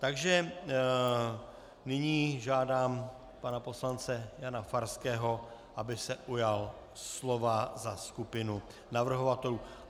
Takže nyní žádám pana poslance Jana Farského, aby se ujal slova za skupinu navrhovatelů.